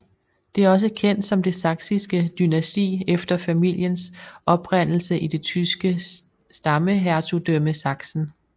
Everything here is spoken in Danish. Det er også kendt som det Saksiske dynasti efter familiens oprindelse i det tyske stammehertugdømme Sachsen